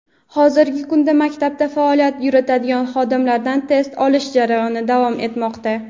hozirgi kunda maktabda faoliyat yuritadigan xodimlardan test olish jarayoni davom etmoqda.